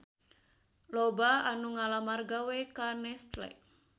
Loba anu ngalamar gawe ka Nestle